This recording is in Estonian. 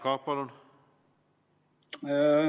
Jaak Aab, palun!